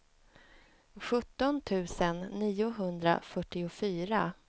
sjutton tusen niohundrafyrtiofyra